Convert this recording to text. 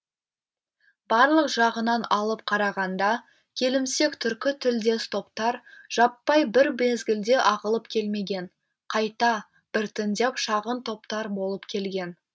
барлық жағынан алып қарағанда келімсек түркі тілдес топтар жаппай бір мезгілде ағылып келмеген қайта біртіндеп шағын топтар болып келген